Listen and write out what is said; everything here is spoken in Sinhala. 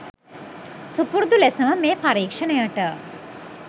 සුපුරුදු ලෙසම මේ පරීක්ෂණයට